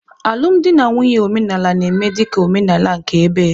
Alụmdi na nwunye omenala na-eme dị ka omenala nke ebe.